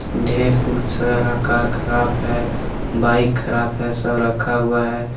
ढेर सारा कार खराब है बाइक खराब है सब रखा हुआ है।